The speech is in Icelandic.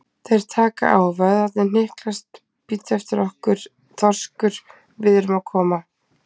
Þeir taka á, vöðvarnir hnyklast, bíddu eftir okkur, þorskur, við erum að koma.